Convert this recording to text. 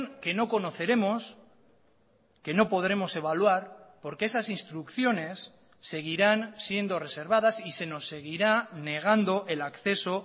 que no conoceremos que no podremos evaluar porque esas instrucciones seguirán siendo reservadas y se nos seguirá negando el acceso